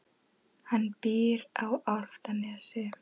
Hann býr á Álftanesi.